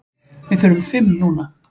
Við þurfum fimm núna.